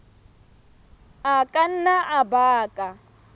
a ka nna a baka